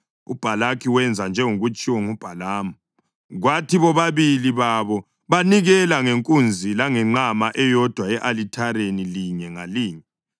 UBhalaki wenza njengokutshiwo nguBhalamu, kwathi bobabili babo banikela ngenkunzi langenqama eyodwa e-alithareni linye ngalinye.